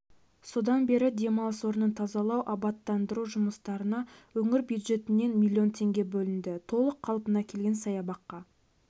содан бері демалыс орнын тазалау-абаттандыру жұмыстарына өңір бюджетінен млн теңге бөлінді толық қалпына келген саябаққа